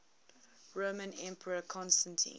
roman emperor constantine